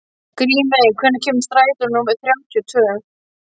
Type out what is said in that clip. Grímey, hvenær kemur strætó númer þrjátíu og tvö?